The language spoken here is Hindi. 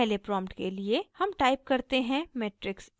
पहले प्रॉम्प्ट के लिए हम टाइप करते हैं matrix a